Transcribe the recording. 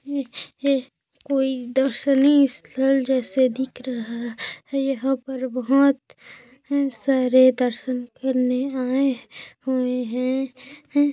ई है कोई दर्शनी स्थल जैसे दिख रहा यहाँ पर बहोत हैं सारे दर्शन करने आए हुए हैं। हैं--